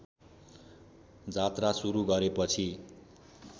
जात्रा सुरु गरेपछि